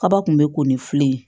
Kaba kun bɛ ko ni fili ye